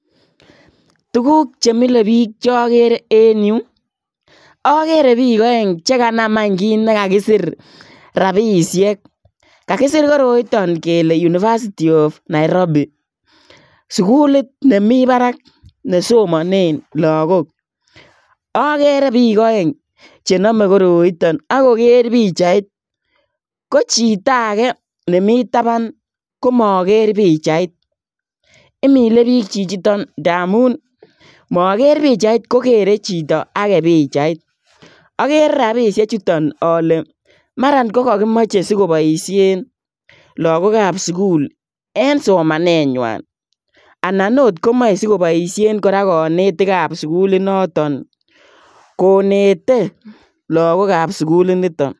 Tuguuk che milee biik che agere en Yuu ii agere biik aeng chekanaam aany kiit nekakisiir rapisheek kakisiir koroitaan kele[] University of Nairobi [] suguliit nemii baraak ne somaneen lagook agere biik aeng che name koroitaan ago keer pichait ko chitoo age nemii tabaan komager pichait imilee biik chichitoon ndamuun magere pichait kogere chitoo agei pichait agere rapisheek chutoon ale maraan ko ko kakimachei sigoboisheen lagook ab sugul en somanenywaan anan or komae sigoboisheen kora kanetiik ab suguliit notoon konetee lagook ab suguliit nitoon.